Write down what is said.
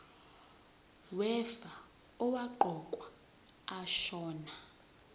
wefa owaqokwa ashona